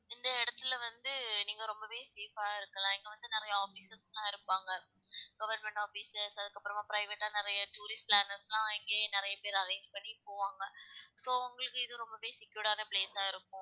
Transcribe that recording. இந்த இடத்துல வந்து நீங்க ரொம்பவே safe ஆ இருக்கலாம் இங்க வந்து நிறைய officers லாம் இருப்பாங்க government officers அதுக்கப்புறமா private ஆ நிறைய tourist planners லாம் இங்கயே நிறைய பேர் arrange பண்ணி போவாங்க so உங்களுக்கு இது ரொம்பவே secured ஆனா place ஆ இருக்கும்